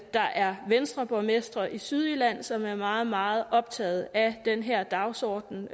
der er venstreborgmestre i sydjylland som er meget meget optagede af den her dagsorden